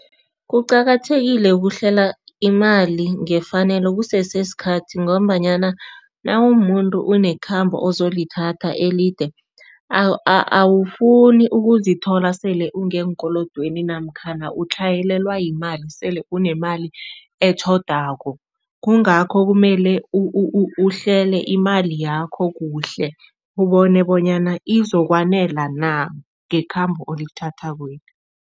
Kuqakathekile ukuhlela imali ngefanelo kusesesikhathi ngombanyana nawumumuntu unekhambo ozolithatha elide, awufuni ukuzithola sele ungeenkolodweni namkhana utlhayelelwa yimali, sele unemali etjhodako. Kungakho kumele uhlele imali yakho kuhle, ubone bonyana izokwanela na ngekhambo olithathakweli.